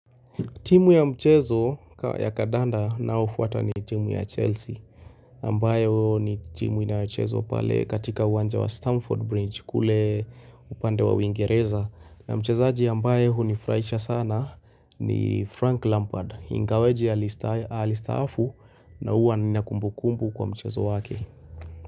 Timu ya mchezo ya kandanda ninayofuata ni timu ya Chelsea, ambayo ni timu inayochezwa pale katika uwanja wa Stamford Bridge, kule upande wa uingereza, na mchezaji ambaye hunifurahisha sana ni Frank Lampard, ingawaje alistaafu na huwa nina kumbukumbu kwa mchezo wake.